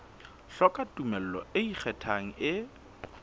hloka tumello e ikgethang e